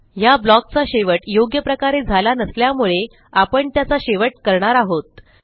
ह्या blockचा शेवट योग्य प्रकारे झाला नसल्यामुळे आपण त्याचा शेवट करणार आहोत